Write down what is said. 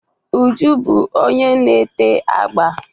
Uju bu onye na-ete agba.